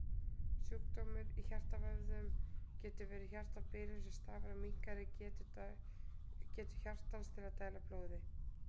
Sjúkdómur í hjartavöðvanum getur verið hjartabilun sem stafar af minnkaðri getu hjartans að dæla blóði.